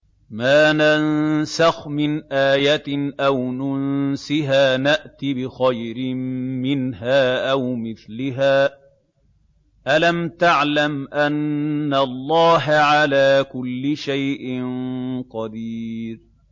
۞ مَا نَنسَخْ مِنْ آيَةٍ أَوْ نُنسِهَا نَأْتِ بِخَيْرٍ مِّنْهَا أَوْ مِثْلِهَا ۗ أَلَمْ تَعْلَمْ أَنَّ اللَّهَ عَلَىٰ كُلِّ شَيْءٍ قَدِيرٌ